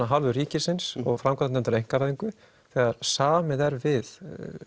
af hálfu ríkisins og framkvæmdarnefndar einkavæðingu þegar samið er við